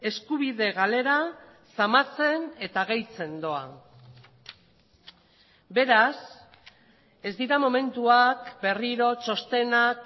eskubide galera zamatzen eta gehitzen doa beraz ez dira momentuak berriro txostenak